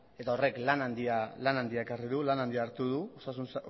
eta horrek lan handia ekarri du lan handia hartu du osasun